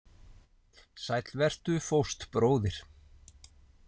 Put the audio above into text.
Sæll vertu, fóstbróðir.